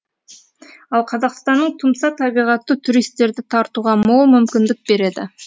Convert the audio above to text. ал қазақстанның тұмса табиғаты туристерді тартуға мол мүмкіндік береді